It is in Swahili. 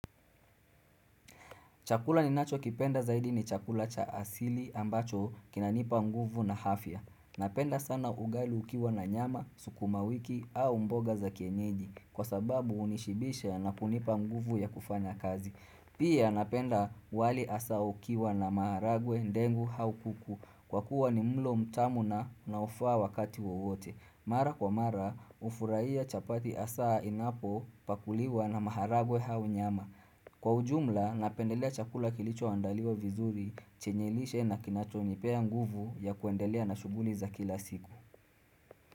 Chakula ninacho kipenda zaidi ni chakula cha asili ambacho kinanipa nguvu na afya. Napenda sana ugali ukiwa na nyama, sukuma wiki au mboga za kienyeji kwa sababu hunishibisha na kunipa nguvu ya kufanya kazi. Pia napenda wali hasa ukiwa na maharagwe ndengu au kuku kwa kuwa ni mlo mtamu na unaofaa wakati wowote. Mara kwa mara hufurahia chapati hasa inapopakuliwa na maharagwe au nyama. Kwa ujumla, napendelea chakula kilichoandaliwa vizuri chenyenlishe na kinachonipea nguvu ya kuendelea na shughuli za kila siku.